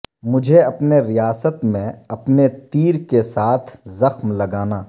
مجھے اپنے ریاست میں اپنے تیر کے ساتھ زخم لگانا